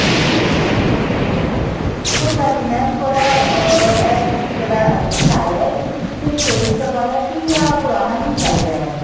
okay ਕੋਈ ਗੱਲ ਨੀ mam ਤੁਹਾਡਾ ਅਹ ਏ ਜਿਹੜਾ SD card ਏ ਤੁਸੀਂ ਪਿੱਛੇ change ਕਰਵਾਇਆ ਸੀ ਜਾਂ ਪੁਰਾਣਾ ਹੀ ਚੱਲ ਰਿਹਾ